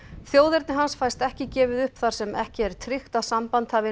þjóðerni hans fæst ekki gefið upp þar sem ekki er tryggt að samband hafi